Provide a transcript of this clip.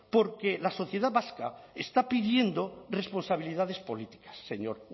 porque la sociedad vasca está pidiendo responsabilidades políticas señor